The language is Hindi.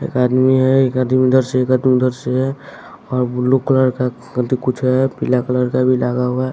एक आदमी है एक आदमी इधर से एक आदमी उधर से है और ब्लू कलर का अथी कुछ है पीला कलर का भी लगा हुआ--